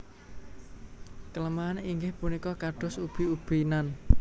Keleman inggih punika kados ubi ubi nan